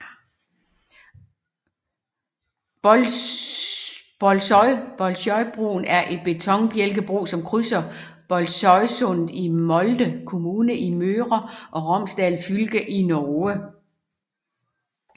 Bolsøybroen er en betonbjælkebro som krydser Bolsøysundet i Molde kommune i Møre og Romsdal fylke i Norge